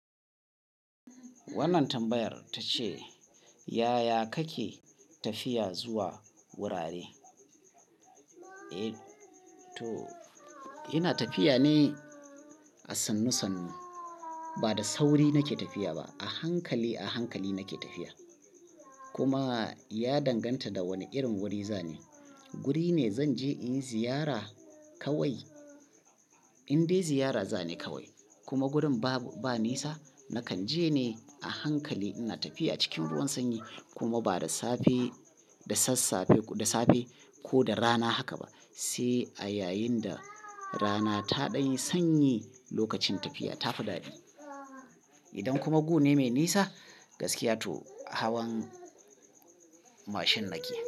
Wannan tambayar ta ce, "Yaya kake tafiya zuwa wurare?" Eh to ina tafiya ne a sannu sannu, ba da sauri nake tafiya ba. A hankali, a hankali nake tafiya. Kuma ya danganta da wane irin wuri za ne. Wuri ne zan je in yi ziyara kawai, indai ziyara za ni kawai. Kuma wurin ba nisa, nakan je ne a hankali. Ina tafiya cikin ruwan sanyi kuma ba da safe, da sassafe, da safe ko da rana haka ba, sai a yayin da rana ta ɗan yi sanyi lokacin tafiya tafi daɗi. Idan kuma gune mai nisa, gaskiya to hawan mashin nake.